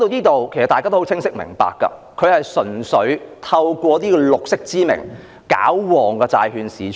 至此大家也很明白，政府純粹是假借"綠色"之名來"搞旺"債券市場。